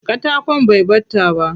Katakon bai ɓata ba.